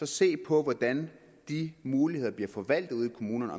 se på hvordan de muligheder bliver forvaltet ude i kommunerne